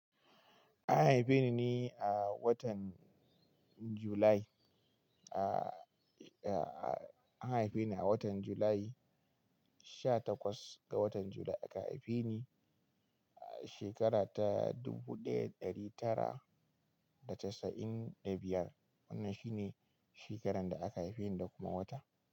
An haife ni ne a watan July, a, a, a an haife ni a watan July, sha takwas ga watan July aka haife ni, a shekara ta dubu ɗaya da ɗari tara da casa'in da biyar. Wannan shi ne shekarar da aka haife ni da kuma wata.